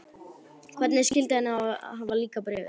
Hvernig skyldi henni hafa líkað Bréfið?